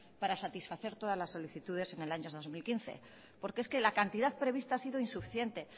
para satisfacer todas las solicitudes en el año dos mil quince porque es que la cantidad prevista ha sido insuficiente